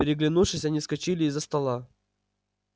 переглянувшись они вскочили из-за стола